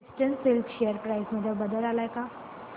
eastern Silk share price मध्ये बदल आलाय का